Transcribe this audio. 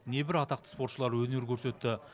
небір атақты спортшылар өнер көрсетті